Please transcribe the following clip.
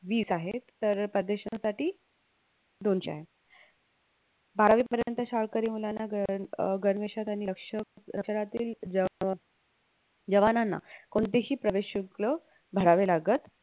वीस आहे तर परदेशांसाठी दोनशे आहे बारावीपर्यंत शाळकरी मुलांना गं अह गणवेशांत आणि जवांनाना कोणतेही प्रवेश शुक्ल भरावे लागत